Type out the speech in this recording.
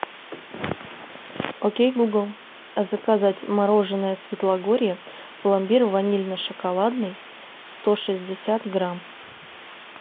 окей гугл заказать мороженное светлогорье пломбир ванильно шоколадный сто шестьдесят грамм